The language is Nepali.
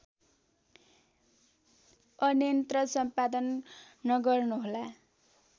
अन्यत्र सम्पादन नगर्नुहोला